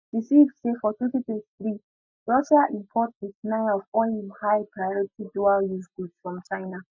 di ceip say for 2023 russia import 89 of all im high priority dualuse goods from china